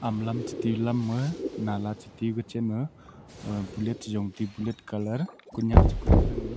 lam cheti lam nu nala cheti ku cha ma bullet cha jong tepu bullet colour Kunak kuding than.